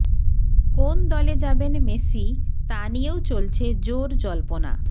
কোন দলে যাবেন মেসি তা নিয়েও চলছে জোর জল্পনা